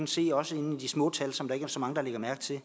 se også de små tal som der ikke er så mange der lægger mærke til